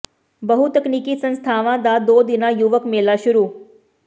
ਬਹੁ ਤਕਨੀਕੀ ਸੰਸਥਾਵਾਂ ਦਾ ਦੋ ਦਿਨਾਂ ਯੁਵਕ ਮੇਲਾ ਸ਼ੁਰੂ